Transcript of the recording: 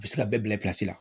U bɛ se ka bɛɛ bila la